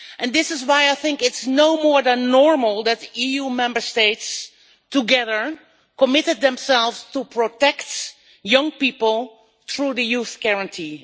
This is why I think it is no more than normal that the EU Member States have together committed themselves to protecting young people through the Youth Guarantee.